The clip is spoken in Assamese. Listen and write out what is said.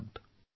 ধন্যবাদ